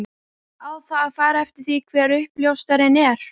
Á það að fara eftir því hver uppljóstrarinn er?